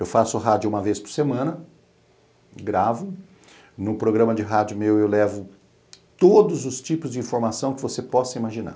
Eu faço rádio uma vez por semana, gravo, no programa de rádio meu eu levo todos os tipos de informação que você possa imaginar.